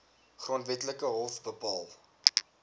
grondwetlike hof bepaal